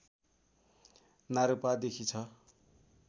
नारूपादेखि छ